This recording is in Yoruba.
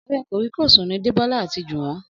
Ọ̀rẹ́ kòríkòsùn ni Débọ́lá àti Jùwọ́n